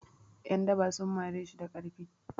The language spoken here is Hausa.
'Yandaba sun mari shi da ƙarfi.